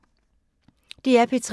DR P3